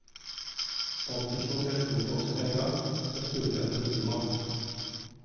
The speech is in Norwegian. Fant ikke noen telefonboks med en gang, så jeg spurte en politimann.